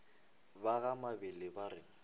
ba ga mabele ba re